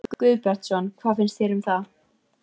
Jón Örn Guðbjartsson: Hvað finnst þér um það?